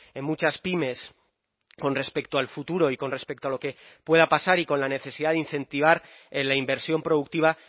en muchas pymes con respecto al futuro y con respecto a lo que pueda pasar y con la necesidad de incentivar en la inversión productiva